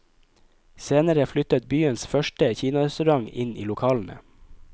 Senere flyttet byens første kinarestaurant inn i lokalene.